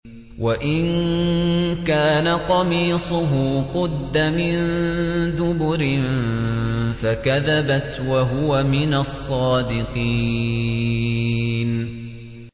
وَإِن كَانَ قَمِيصُهُ قُدَّ مِن دُبُرٍ فَكَذَبَتْ وَهُوَ مِنَ الصَّادِقِينَ